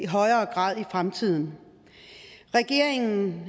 højere grad i fremtiden regeringen